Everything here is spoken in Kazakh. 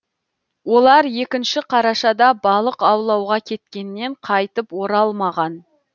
олар екінші қарашада балық аулауға кеткеннен қайтып оралмаған